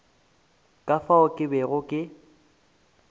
ka fao ke bego ke